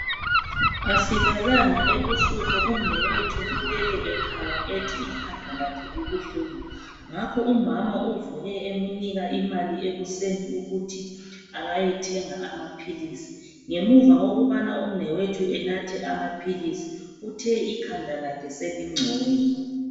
Asilalanga ebusuku, umnewethu ulele ekhala ethi ikhanda lakhe libuhlungu ngakho umama uvuke emnika imali ekuseni ukuthi akayethenga amaphilisi. Ngemuva kokubana umnewethu enathe amaphilisi, uthe ikhanda lakhe selingcono.